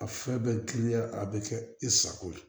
A fɛn bɛɛ kiya a bɛ kɛ i sago ye